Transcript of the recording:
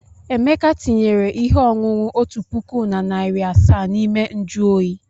Emeka tinyere ihe ọṅụṅụ otu puku na narị asaa n'ime nju oyi.